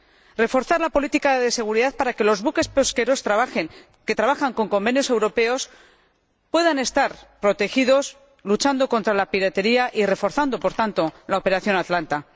Debemos reforzar la política de seguridad para que los buques pesqueros que trabajan con convenios europeos puedan estar protegidos, luchando para ello contra la piratería y, reforzando, por tanto, la operación Atalanta.